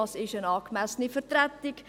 Was ist eine angemessene Vertretung?